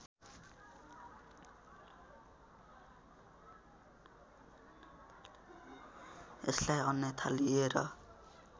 यसलाई अन्यथा लिएर